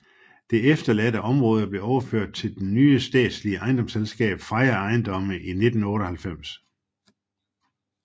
Det efterladte område blev overført til det nye statslige ejendomsselskab Freja Ejendomme i 1998